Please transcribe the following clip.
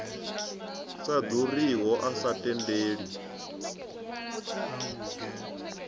sa ḓuriho a sa tendeli